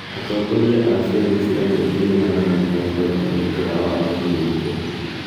Atongoria a ciama cia mũingĩ nĩ maranyita mbaru mwerekera wa Waziri Mkuu.